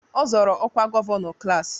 Ọ zọọrọ ọkwa gọvanọ klaasị